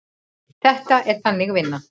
Þetta er Þannig vinna.